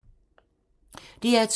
DR2